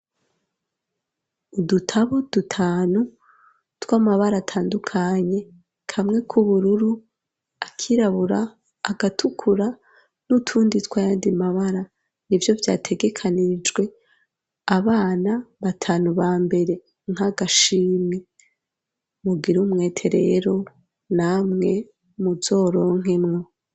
Udutabo dutanu tw'amabara atandukanye kamwe k'ubururu akirabura agatukura n'utundi twayandi mabara, nivyo vyategekanijwe abana batanu ba mbere nk'agashimwe mugire umwete rero namwe muzoronkemwo.